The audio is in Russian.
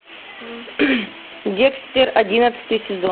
декстер одиннадцатый сезон